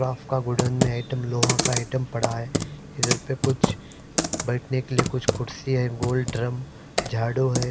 Rough का godown में item लोहा का आइटम पड़ा है इधर पर कुछ बैठ ने के लिए कुछ कुर्सी है गोल ड्रम झाड़ू है।